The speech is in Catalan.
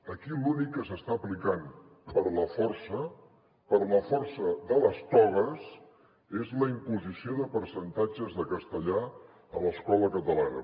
aquí l’únic que s’està aplicant per la força per la força de les togues és la imposició de percentatges de castellà a l’escola catalana